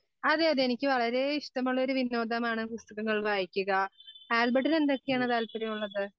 അതെ അതെ എനിക്ക് വളരെ ഇഷ്ടമുള്ള ഒരു വിനോദമാണ് പുസ്തകങ്ങൾ വായിക്കുക. ആൽബർട്ടിന് എന്തൊക്കെയാണ് താല്പര്യമുള്ളത്?